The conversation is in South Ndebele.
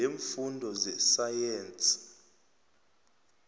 i leemfundo zesayensi